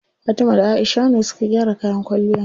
Fatima da Aisha ne suka gyara kayan kwalliyan.